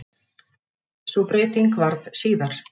Sú breyting varð síðar.